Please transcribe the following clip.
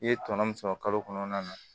I ye tɔnɔ min sɔrɔ kalo kɔnɔna na